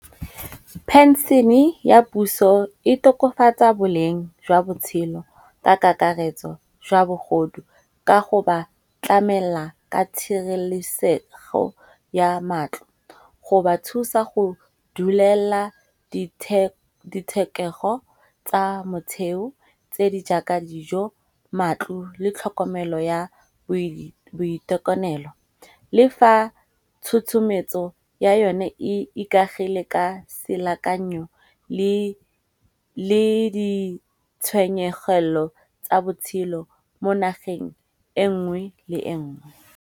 Pension-e ya puso e tokofatsa boleng jwa botshelo ka kakaretso jwa bogodu. Ka go ba tlamela ka tshireletsego ya matlo, go ba thusa go dulela dithekego tsa motsheo tse di jaaka dijo, matlo le tlhokomelo ya boitekanelo. Le fa tshotshometso ya yone e ikagile ka selekanyo le ditshwenyegelo tsa botshelo mo nageng e nngwe le e nngwe.